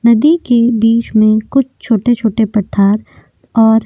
नदी के बीच में कुछ छोटे छोटे पठार और --